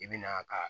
I bi na ka